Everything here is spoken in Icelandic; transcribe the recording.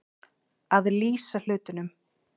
Að lýsa hlutunum